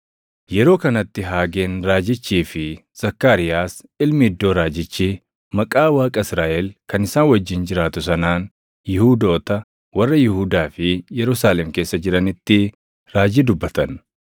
Yeroo kanatti Haageen raajichii fi Zakkaariyaas ilmi Iddoo raajichi, maqaa Waaqa Israaʼel kan isaan wajjin jiraatu sanaan Yihuudoota warra Yihuudaa fi Yerusaalem keessa jiranitti raajii dubbatan.